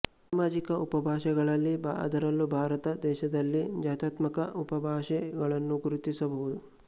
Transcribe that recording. ಸಾಮಾಜಿಕ ಉಪಭಾಷೆಗಳಲ್ಲಿ ಅದರಲ್ಲೂ ಭಾರತ ದೇಶದಲ್ಲಿ ಜಾತ್ಯಾತ್ಮಕ ಉಪಭಾಷೆ ಗಳನ್ನು ಗುರುತಿಸಬಹುದು